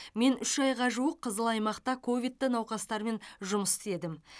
мен үш айға жуық қызыл аймақта ковидті науқастармен жұмыс істедім